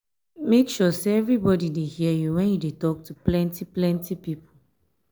make sure sey everybody dey hear you wen you dey tok to plenty plenty pipo.